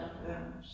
Ja